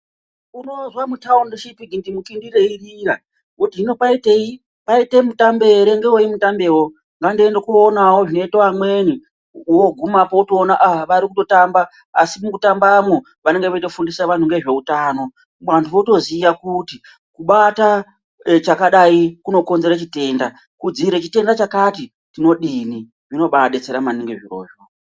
Unozwa muthaundi richiti gindimukindi reirira woti hino kwaitei kwaite mitambe ere ngewei mutambewo ngandiende koonawo zvinoite vamweni woogumapo wotoona aaa varikutotamba asi mukutambamwo vanenge veitofundisa vanthu ngezveutano vantu votoziya kuti kubata chakadai kunokonzere chitenda kudziirire chitenda chakati tinodini. Zvonobaadetsera maningi zvirozvo.